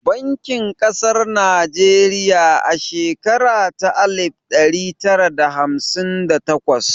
An kafa babbar bankin ƙasar Najeriya a shekara ta alif ɗari tara da hamsin da takwas